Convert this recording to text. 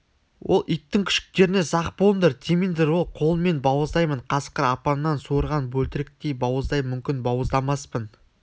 ол иттің күшіктеріне сақ болыңдар тимеңдер өз қолыммен бауыздаймын қасқыр апаннан суырған бөлтіріктей бауыздаймын мүмкін бауыздамаспын